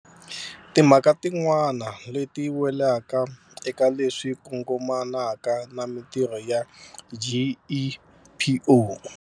Timhaka tin'wana leti welaka eka leswi kongomanaka na mitirho ya GEPO.